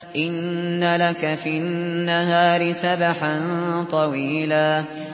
إِنَّ لَكَ فِي النَّهَارِ سَبْحًا طَوِيلًا